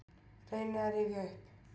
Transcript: Reyni að rifja upp.